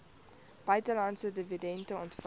buitelandse dividende ontvang